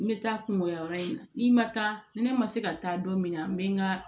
N bɛ taa kungo yɔrɔ in na n'i ma taa ni ne ma se ka taa don min na n bɛ n ka